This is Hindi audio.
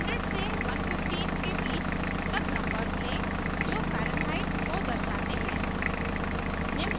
100 से 115 के बीच तक नंबर्स लें जो फैरन्हाइट को दर्शाते हैं